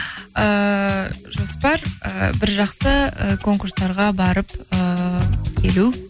ыыы жоспар ы бір жақсы ы конкурстарға барып ыыы келу